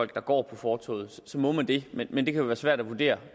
der går fortovet så må man det men det kan jo være svært at vurdere